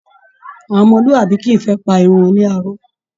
Àwọn ọmọlúàbí kìí fẹ́ pa irun wọn láró